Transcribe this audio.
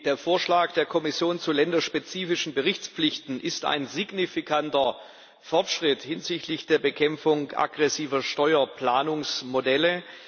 Der Vorschlag der Kommission zu länderspezifischen Berichtspflichten ist ein signifikanter Fortschritt hinsichtlich der Bekämpfung aggressiver Steuerplanungsmodelle.